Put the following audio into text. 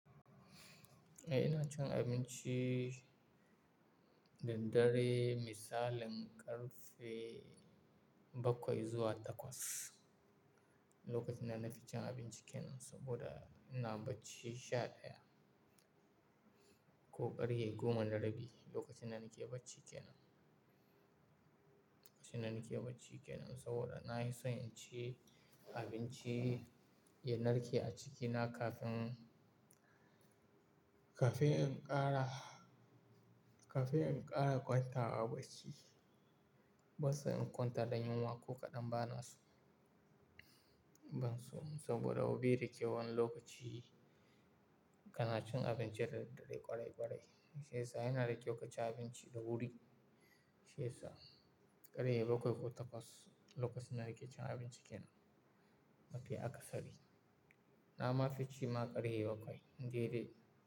Eh, ina cin abinci daraddare misalin ƙarfe bakwai zuwa takwas. Lokacin da na fi cin abinci kenan saboda ina bacci sha ɗaya ko ƙarfe goma da rabi lokacin da nake bacci kenan. Lokacin da nake bacci kenan saboda na fi so in ci abinci ya narke a cikina kafin, kafin in ƙara, kafin in ƙara kwanta a bacci. Bansan in kwanta da yunwa ko kaɗan bana so, banso. Saboda baida kyau wani lokaci kana cin abinci da daddare ƙwarai ƙwarai. Shiyasa yana da kyau kaci abinci da wuri. Shiyasa ƙarfe bakwai ko takwas lokacin da nake cin abinci kenan. Mafi aka sari. Na ma fici ma ƙarfe bakwai. Dai dai.